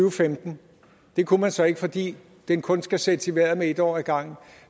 og femten det kunne man så ikke fordi den kun skal sættes i vejret med en år ad gangen